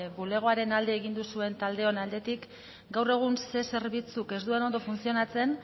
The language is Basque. bulegoaren alde egin duzuen taldeon aldetik gaur egun zer zerbitzuk ez duen ondo funtzionatzen